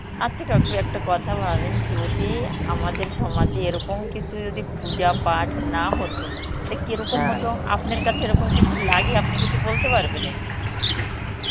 আচ্ছা কাকু একটা কথা ভাবেন যদি আমাদের সমাজে এরকম কিছু যদি পূজা পাঠ না হত তা হত আপনার কাছে এরকম কিছু লাগে আপনি কিছু বলতে পারবেন এই